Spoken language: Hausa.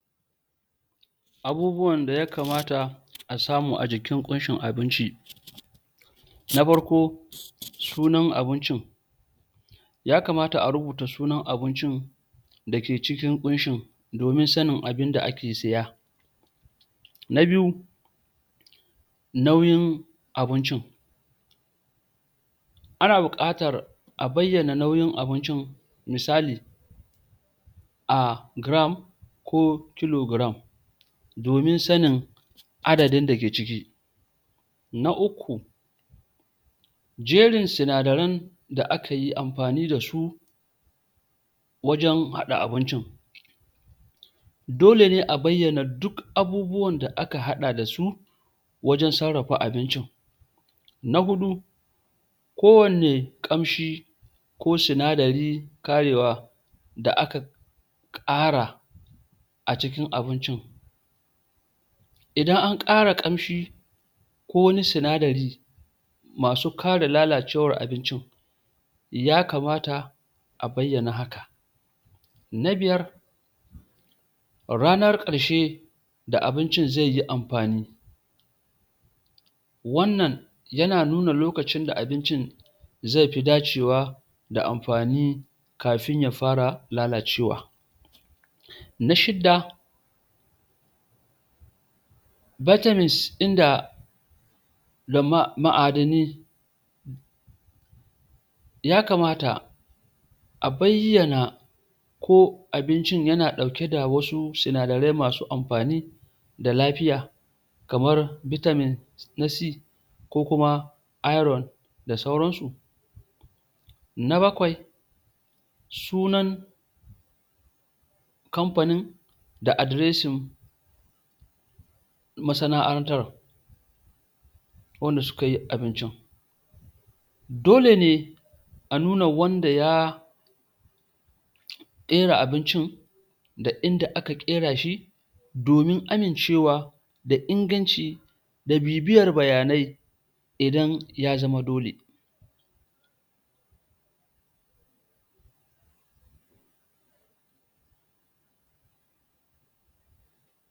abubuwan da yakamata a samu ajikin kunshin abinci na farko sunan abincin ya kamata a rubuta sunan abincin ake cikin kunshin domin sanin abinda ake siya na biyu auyin abincin ana buƙatar a bayyana nauyin abincin misali a gram ko kilogram domin sanin adadin dake ciki na uku jerin sinadaran da akayi amfani dasu wajen haɗa abincin olene a bayyana duk abubuwan da aka haɗa dasu wajen sarrafa abincin na huɗu ko wanne kamshi ko sinadari ƙarewa da aka ƙara a cikin abincin idan an ƙara ƙamshi ko wani sinadari masu ƙara lalacewar abincin ya kamata a bayyana haka na biyar ranar ƙarshe da abincin zai yi amfani wannan yana nuna loakcin da abincin zai fi dacewa da amfani kafin ya fara lalacewa na shida vitamins din da da ma ma'adani ya kamata a bayyana ko bincin yana ɗauke da wasu sinadarai masu amfani ga lafiya kamar vitamin na c ko kuma iron da sauran su na bakwai sunan kampanin da addressin masana'antar wanda sukayi abinchin dole ne a nuna wanda ya kera abinchi da inda aka ƙera shi domin amincewa da inngancin da bibiyar bayanai idan ya zama dole